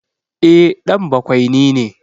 E, ɗan bakwaini ne.